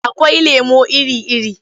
Akwai lemo iri-iri.